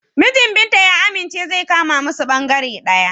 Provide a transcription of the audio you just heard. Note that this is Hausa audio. Mijin Binta ya amince zai kama musu bangare ɗaya.